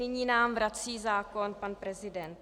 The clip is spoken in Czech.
Nyní nám vrací zákon pan prezident.